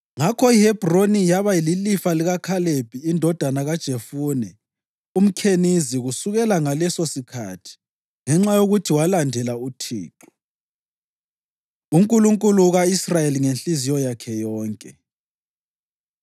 Ngakho iHebhroni yaba lilifa likaKhalebi indodana kaJefune umKhenizi kusukela ngalesosikhathi ngenxa yokuthi walandela uThixo, uNkulunkulu ka-Israyeli ngenhliziyo yakhe yonke.